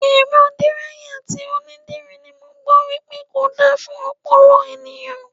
Èrọ díráyà tí onídìrí ni mo gbọ́ wípé kò dára fún ọpọlọ ẹ̀yàn.